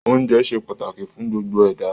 Oúnjẹ ṣe pàtàkì fún gbogbo ẹ̀dá